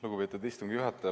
Lugupeetud istungi juhataja!